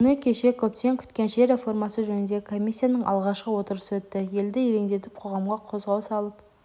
күні кеше көптен күткен жер реформасы жөніндегі комиссияның алғашқы отырысы өтті елді елеңдетіп қоғамға қозғау салып